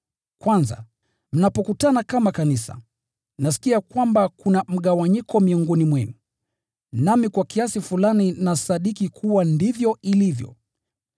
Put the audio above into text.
Kwanza, mnapokutana kama kanisa, nasikia kwamba kuna mgawanyiko miongoni mwenu, nami kwa kiasi fulani nasadiki kuwa ndivyo ilivyo.